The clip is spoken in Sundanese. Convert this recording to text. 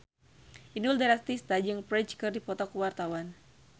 Inul Daratista jeung Ferdge keur dipoto ku wartawan